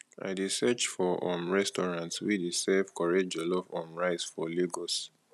i dey search for um restaurant wey dey serve correct jollof um rice for lagos